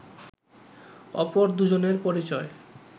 অপর দুজনের পরিচয়